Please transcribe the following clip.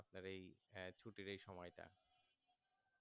আপনার এই ছুটির সময় তা